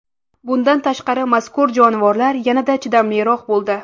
Bundan tashqari, mazkur jonivorlar yanada chidamliroq bo‘ldi.